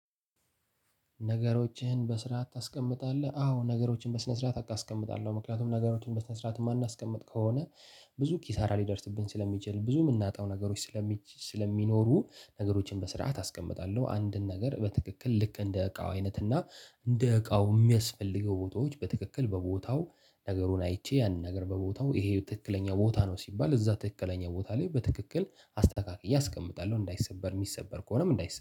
ነገሮችን በስርዓት ታስቀምጣለህ አዎ ነገሮችን በስነ ስርዓት አቀ አስቀምጣለሁ ምክንያቱም ነገሮችን በስነ ስርዓት የማናስቀምጥ ከሆነ ብዙ ኪሳራ ሊደርስብን ስለሚችል ብዙ የምናጣው ነገሮች። ስለሚኖሩ ነገሮችን በስርዓት አስቀምጣለሁ አንድን ነገር በትክክል ልክ እንደ ዕቃው አይነት እና እንደ ዕቃው የሚያስፈልገው ቦታዎች በትክክል በቦታው ነገሩን አይቼ ያንን ነገር በቦታው ይሄ ትክክለኛ ቦታ ነው ሲባል እዛ ትክክለኛ ቦታ ላይ በትክክል አስተካክዬ አስቀምጣለሁ። እንዳይሰበር የሚሰበር ከሆነም እንዳይሰበር